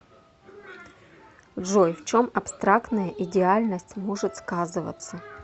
джой в чем абстрактная идеальность может сказываться